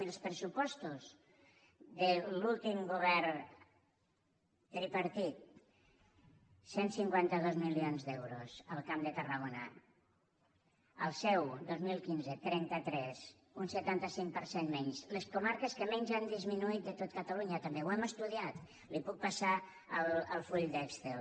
miri els pressupostos de l’últim govern tripartit cent i cinquanta dos milions d’euros al camp de tarragona el seu dos mil quinze trenta tres un setanta cinc per cent menys les comarques que menys han disminuït de tot catalunya també ho hem estudiat li puc passar el full d’excel